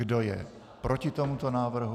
Kdo je proti tomuto návrhu?